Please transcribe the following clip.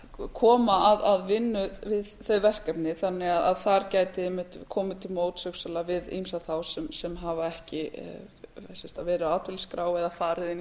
statistar koma að vinnu að þau verkefni þannig að þar gæti einmitt komið til móts hugsanlega við ýmsa þá sem hafa ekki verið á atvinnuleysisskrá eða farið inn í